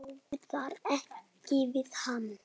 Ráða ekki við hann.